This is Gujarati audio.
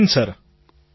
પ્રધાનમંત્રી જય હિન્દ